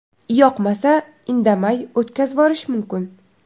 Yoqmasa, indamay o‘tkazvorish mumkin.